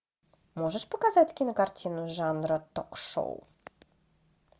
можешь показать кинокартину жанра ток шоу